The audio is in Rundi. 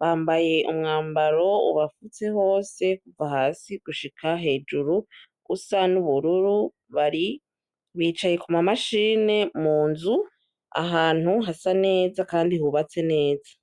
bambaye umwambaro ubafutse hose kuva hasi gushika hejuru gusa n'ubururu bari bicaye ku mamashine mu nzu ahantu hasa neza, kandi hubatse neza.